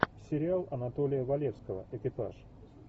сериал анатолия валевского экипаж